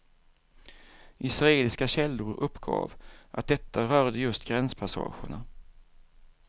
Israeliska källor uppgav att detta rörde just gränspassagerna.